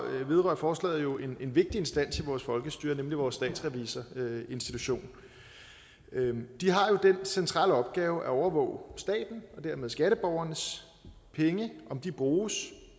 vedrører forslaget jo en vigtig instans i vores folkestyre nemlig vores statsrevisorinstitution de har jo den centrale opgave at overvåge statens og dermed skatteborgernes penge om de bruges